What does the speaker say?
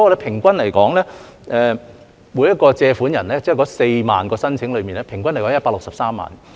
例如百分百特惠低息貸款 ，4 萬宗申請的平均借款為163萬元。